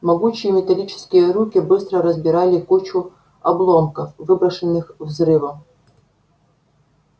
могучие металлические руки быстро разбирали кучу обломков выброшенных взрывом